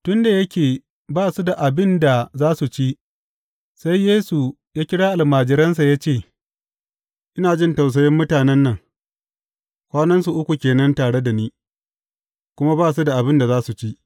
Tun da yake ba su da abin da za su ci, sai Yesu ya kira almajiransa ya ce, Ina jin tausayin mutanen nan, kwanansu uku ke nan tare da ni, kuma ba su da abin da za su ci.